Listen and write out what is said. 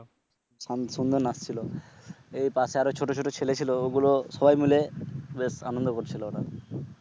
খুব সুন্দর নাচ ছিল এই পাশে আর ও ছোট ছোট ছেলে ছিল ওগুলো সবাই মিলে বেশ আনন্দ করছিল ওরা